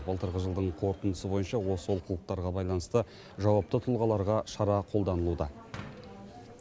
былтырғы жылдың қорытындысы бойынша осы олқылықтарға байланысты жауапты тұлғаларға шара қолданылуда